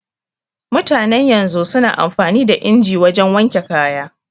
Mutanen yanzu su na amfani da inji wajen wanke kaya